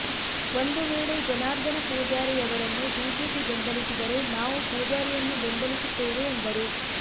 ಒಂದು ವೇಳೆ ಜನಾರ್ದನ ಪೂಜಾರಿ ಅವರನ್ನು ಬಿಜೆಪಿ ಬೆಂಬಲಿಸಿದರೆ ನಾವು ಪೂಜಾರಿಯನ್ನು ಬೆಂಬಲಿಸುತ್ತೇವೆ ಎಂದರು